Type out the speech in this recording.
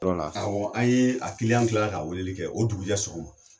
Dɔw la, awɔ an yee a tilara ka weeleli kɛ o dugujɛ sɔgɔma.